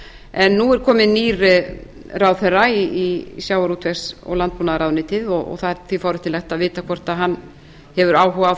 en nú er kominn nýr ráðherra í sjávarútvegs og landbúnaðarráðuneytið og það er því forvitnilegt að vita hvort hann hefur áhuga á